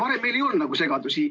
Varem meil ei olnud nagu segadusi.